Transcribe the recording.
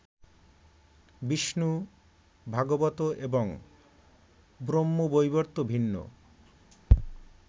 বিষ্ণু, ভাগবত এবং ব্রহ্মবৈবর্ত ভিন্ন